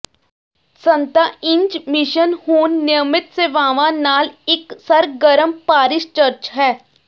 ਸੰਤਾ Ines mission ਹੁਣ ਨਿਯਮਤ ਸੇਵਾਵਾਂ ਨਾਲ ਇਕ ਸਰਗਰਮ ਪਾਰਿਸ਼ ਚਰਚ ਹੈ